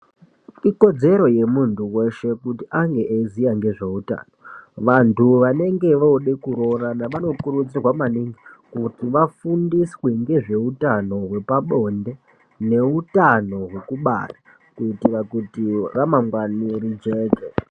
Ikodzero yemunthu weshe kuti ange eiziya ngezveutano. Vanthu vanenge voode kuroorana vanokurudzirwa maningi kuti vafundiswe ngezveutano hwepabonde neutano hwekubara kutire kuti ramangwani rijeke.